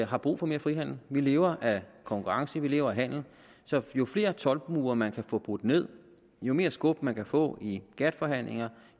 har brug for mere frihandel vi lever af konkurrence vi lever af handel så jo flere toldmure man kan få brudt ned jo mere skub man kan få i gatt forhandlinger